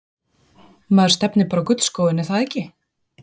Maður stefnir bara á gullskóinn er það ekki?